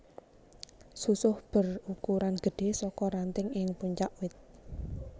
Susuh berukuran gedhé saka ranting ing puncak wit